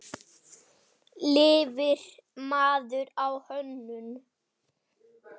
Lifir maður á hönnun?